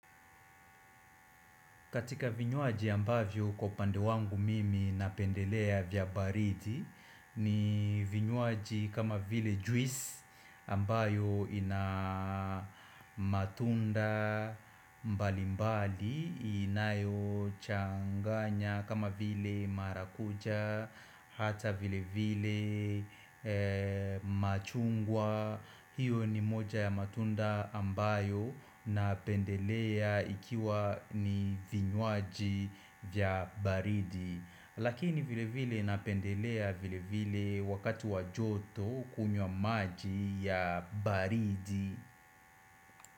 Katika vinywaji ambavyo kwa upande wangu mimi napendelea vya baridi ni vinywaji kama vile juice ambayo ina matunda mbali mbali inayochanganya kama vile marakucha hata vile vile machungwa. Hiyo ni moja ya matunda ambayo napendelea ikiwa ni vinywaji vya baridi Lakini vile vile napendelea vile vile wakati wa joto kunywa maji ya baridi.